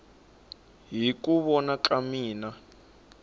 hi ku vona ka mina